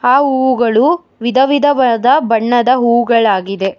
ಆ ಹೂವುಗಳು ವಿಧ ವಿಧವಾದ ಬಣ್ಣದ ಹೂಗಳಾಗಿದೆ.